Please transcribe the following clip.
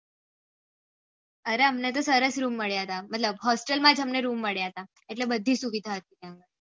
અરે અમને તો સરસ રૂમ મળ્યા હતા મતલબ હોસ્ટેલ માં રૂમ મળ્યા હતા એટલે બધી સુવિધા હથી ત્યાં